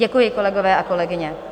Děkuji, kolegyně a kolegové.